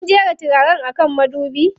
Kin jera turaren a kan madubi?